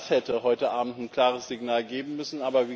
Das hätte heute Abend ein klares Signal geben müssen.